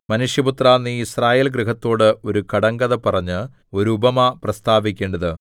മനുഷ്യപുത്രാ നീ യിസ്രായേൽ ഗൃഹത്തോട് ഒരു കടങ്കഥ പറഞ്ഞ് ഒരു ഉപമ പ്രസ്താവിക്കേണ്ടത്